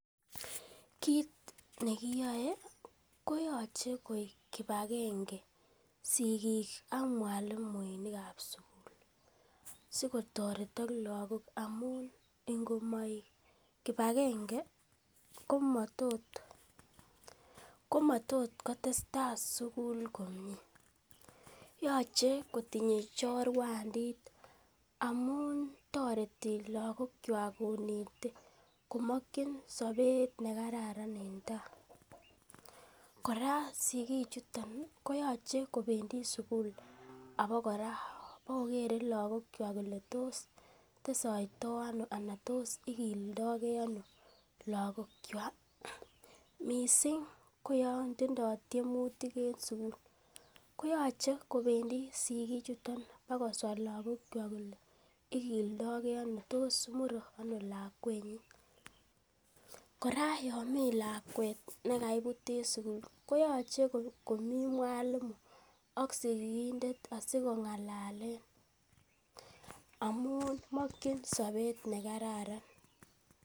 Kiit ne kiyoe koyoche koik kipagenge sigik akmwalimuinik ab sugul. Sikotoretok lagok amun ingomoik kipagenge komatot kotestai sugul komie, yoche kotindo chorwandit amun toreti lagok kywak konete komokin sobet ne kararan en tai, kora sigichuton koyoche kobendi sugul abakora bokokere lagokwak kole tos testoito ono tai tos igildoge ano lagok kywak mising koyon tindo tiemutik lagok koyoche kobendi sigik chuton bakoswa lagok kywak kole tos igildo ge ano, tos mure ano lakwenyin. Kora yon mi lakwet ne kaibut en sugul koche komi mwalimu ak sigindet asikong'alalen amun mokin sobet ne kararan.